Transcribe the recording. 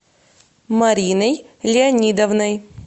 мариной леонидовной